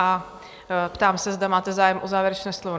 A ptám se, zda máte zájem o závěrečné slovo?